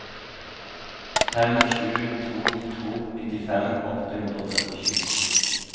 fem sju to to nittifem åtte hundre og trettisju